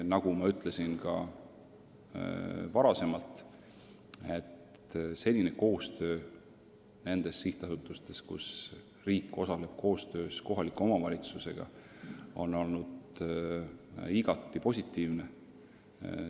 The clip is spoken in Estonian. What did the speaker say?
Nagu ma juba ütlesin, on senine koostöö sihtasutustes, kus riik osaleb koostöös kohaliku omavalitsusega, olnud igati positiivne.